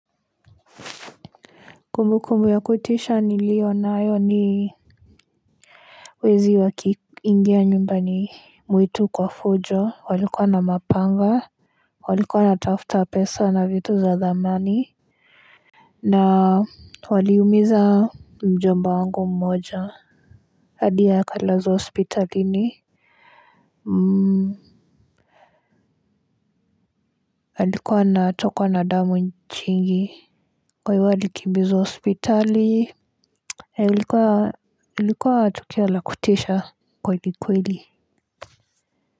Kumbukumbu ya kutisha niliyonayo ni wezi wakiingia nyumbani mwetu kwa fujo walikua na mapanga walikuwa wanatafuta pesa na vitu za dhamani na waliumiza mjomba wangu mmoja hadi akalazwa hospitalini alikua anatokwa na damu nyingi kwa hivyo alikimbizwa hospitali ilikuwa tukio la kutisha kweli kweli.